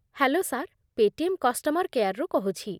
Hello sir, Paytm customer କେୟାର୍‌ରୁ କହୁଛି ।